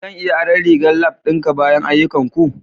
Zan iya aron rigar lab ɗinka bayan ayyukanku?